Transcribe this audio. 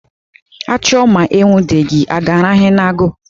A chụọ ma e nwudeghị, a ga-arahụ n'agụ?